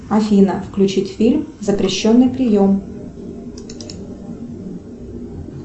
афина включить фильм запрещенный прием